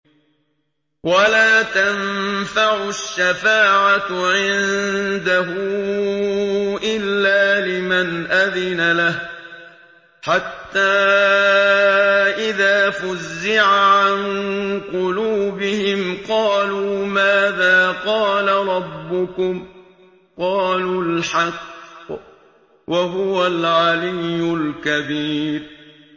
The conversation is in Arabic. وَلَا تَنفَعُ الشَّفَاعَةُ عِندَهُ إِلَّا لِمَنْ أَذِنَ لَهُ ۚ حَتَّىٰ إِذَا فُزِّعَ عَن قُلُوبِهِمْ قَالُوا مَاذَا قَالَ رَبُّكُمْ ۖ قَالُوا الْحَقَّ ۖ وَهُوَ الْعَلِيُّ الْكَبِيرُ